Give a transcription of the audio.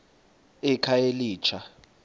ekhayelitsha